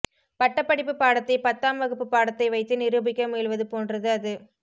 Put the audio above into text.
பட்டப்படிப்புப் பாடத்தை பத்தாம் வகுப்புப் பாடத்தை வைத்து நிரூபிக்க முயல்வது போன்றது அது